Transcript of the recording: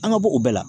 An ka bɔ u bɛɛ la